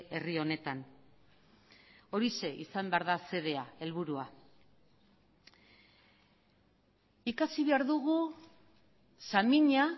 herri honetan horixe izan behar da xedea helburua ikasi behar dugu samina